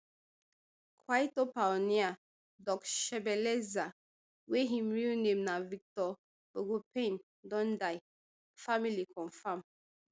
kwaito pioneer doc shebeleza wey im real name na victor bogopane don die family confam